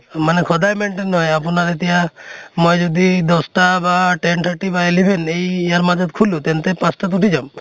মানে সদায় maintain নহয় আপোনাৰ এতিয়া মই যদি দশ্টা বা ten thirty বা eleven এই ইয়াৰ মাজত শুলো তেন্তে পাঁছ্টাত উঠি যাম